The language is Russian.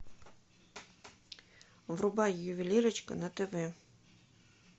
врубай ювелирочка на тв